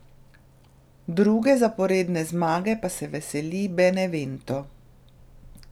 Druge zaporedne zmage pa se veseli Benevento.